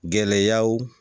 Gɛlɛyaw